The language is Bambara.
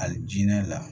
Hali jinɛ la